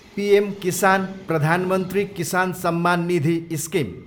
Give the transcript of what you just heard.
PM Kisan, प्रधान मन्त्री किसान सम्मान निधि, स्किम